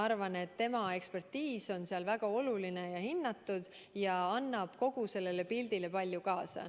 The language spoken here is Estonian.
Ma arvan, et tema ekspertiis on seal väga oluline ja hinnatud ning annab kogu sellele pildile palju juurde.